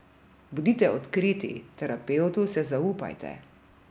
Bodite odkriti, terapevtu se zaupajte.